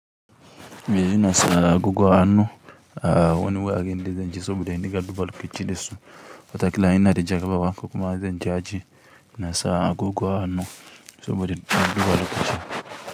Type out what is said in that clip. Eh ina sa agoggo hannu a wani wurin da zan je saboda ya in dinga duba lokaci da su wataƙila ina da jarabawa ko kuma zan je aji. Ina sa goggo hannu saboda ina duba lokaci.